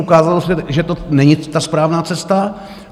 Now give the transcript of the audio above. Ukázalo se, že to není ta správná cesta.